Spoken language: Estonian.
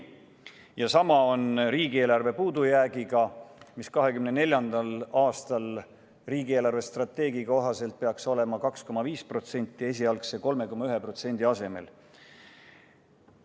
Ja sama on riigieelarve puudujäägiga, mis 2024. aastal peaks riigi eelarvestrateegia kohaselt olema 2,5% esialgu pakutud 3,1% asemel.